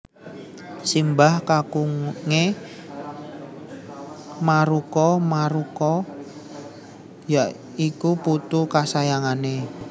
Simbah kakunge Maruko Maruko ya iku putu kasayangane